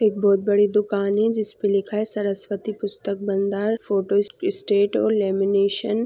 एक बहोत बड़ी दुकान है जिस पे लिखा है सरस्वती पुस्तक भंडार फोटो स- स्टेट और लेमिनेशन .